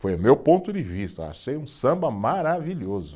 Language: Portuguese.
Foi o meu ponto de vista, achei um samba maravilhoso.